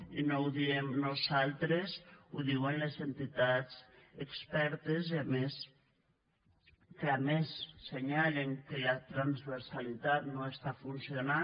i no ho diem nosaltres ho diuen les entitats expertes que a més assenyalen que la transversalitat no està funcionant